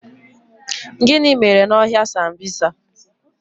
Gịnị mere n' ọhịa sambisa?